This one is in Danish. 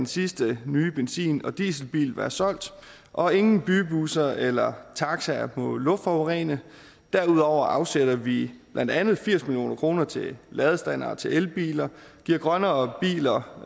sidste nye benzin og dieselbiler være solgt og ingen bybusser eller taxaer må luftforurene derudover afsætter vi blandt andet firs million kroner til ladestandere til elbiler giver grønnere biler